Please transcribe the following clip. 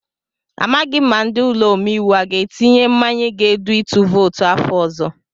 Amaghị m ma ndị ụlọ omeiwu aga etinye mmanye ga-edu itu vootu afọ ọzọ.